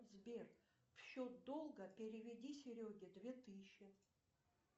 сбер в счет долга переведи сереге две тысячи